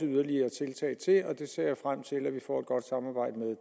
yderligere tiltag til og det ser jeg frem til at vi får et godt samarbejde